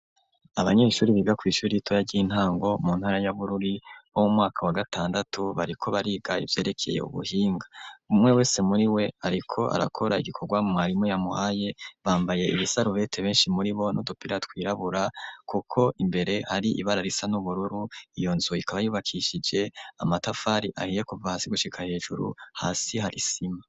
Abanyeshuri biga kw'ishuri ritoya ry'intango mu ntara y'abururi bo mu mwaka wa gatandatu bariko barigaye vyerekeye ubuhinga umwe wese muri we, ariko arakora igikorwa marimu yamuhaye bambaye ibisarubete benshi muri bo nudupira twirabura, kuko imbere hari ibara risa n'ubururu iyo nzu ikabayubakishije amatafari ahiye kuva hasi gushika hejuru hasi harisima.